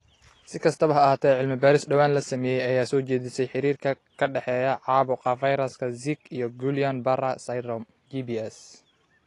Si kastaba ha ahaatee, cilmi-baaris dhowaan la sameeyay ayaa soo jeedisay xiriirka ka dhexeeya caabuqa fayraska Zika iyo Guillain Barre syndrome (GBS).